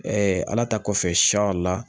ala ta kɔfɛ la